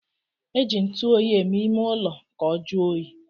E ji ntuoyi eme ime ulo ka o juo oyi